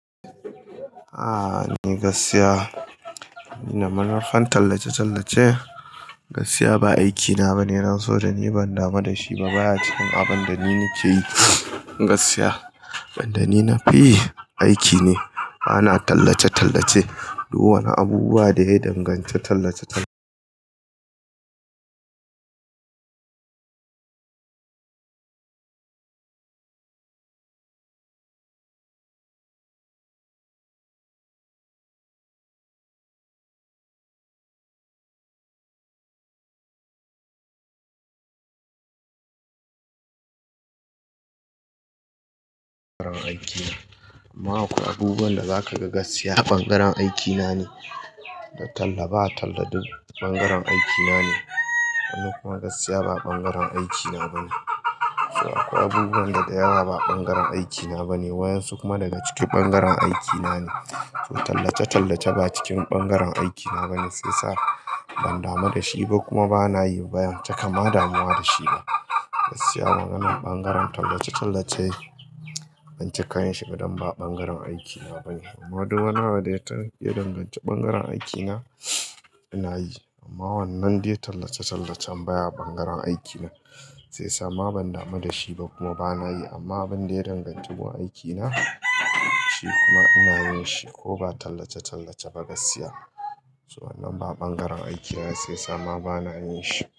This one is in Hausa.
A'a ni gaskiya, ni na marar tallace-tallace. Gaskiya ba aikina ba ne, nan so da ni ban dama da shi ba. Baya cikin abin da ni nake yi gaskiya. Abinda ni nafi yi aiki ne bana tallace-tallace. Duk wani abubuwa da ya danganci tallace-tallace bangaren aikina. Amma akwai abubuwan da zakaga gaskiya ɓangaren aikina ne, da talla ba talla duk ɓangaren aikina ne. Kuma gaskiya ba ɓangaren aikina bane. Akwai abubuwan da dayawa ba ɓangaren aikina ba lne, wa'yan su kuma daga ciki ɓangaren aikina ne. Tallace-tallace ba cikin ɓangaren aikina bane, shiyasa ban damu dashi ba kuma banayi ban cika ma damuwa dashi ba. Gaskiya wannan bangaren tallace-tallace ban cika yinshi ba don ba ɓangaren aikina bane. Amma duk wanda ya danganci ɓangaren aikina ina yi. Amma wannan dai tallace-tallacen baya ɓangaren aikina shiyasa ma ban damu dashi ba kuma bana yi. Amma abin da ya danganci wurin aikina shi kuma ina yin shi ko ba tallace-tallace ba gaskiya. So wannan ba ɓangaren aikina shiyasa ma bana yinshi.